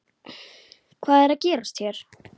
Hvað er að gerast hér?